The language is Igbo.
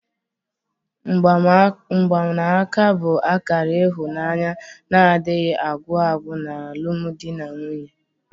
Mgbanaka bụ akara ịhụnanya na-adịghị agwụ agwụ n'alụmdi na nwunye.